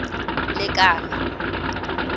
lekala